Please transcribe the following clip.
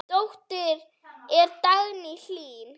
Dóttir þeirra er Dagný Hlín.